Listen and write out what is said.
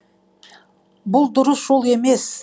бұл дұрыс жол емес